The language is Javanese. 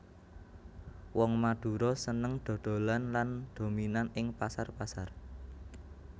Wong Madura seneng dhodholan lan dominan ing pasar pasar